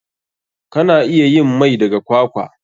Kana iya yin mai daga kwakwa.